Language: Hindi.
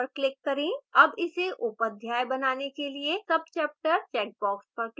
अब इसे उपअध्याय बनाने के लिए subchapter checkbox पर click करें